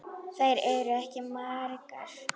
Þær eru ekki margar.